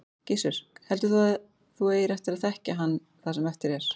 Gissur: Heldur þú að þú eigir eftir að þekkja hann það sem eftir er?